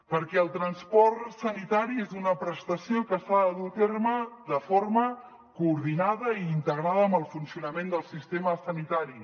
perquè el transport sanitari és una prestació que s’ha de dur a terme de forma coordinada i integrada amb el funcionament del sistema sanitari